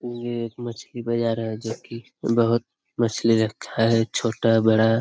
ये एक मछली बाज़ार है जो कि बहुत मछली रखा हैं छोटा-बड़ा --